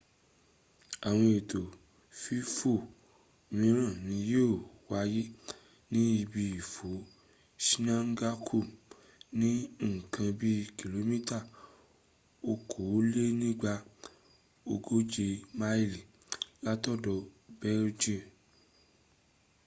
àwọn ètò fífò míràn ni yíò wáyé ní ibi ìfò zhangjiakou ní ǹkan bi kìlómítà okòólénígba ogóje máilì látọ̀dọ beijing.